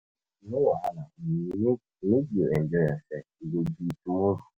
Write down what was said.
No wahala, make make you enjoy yourself, e go be tomorrow.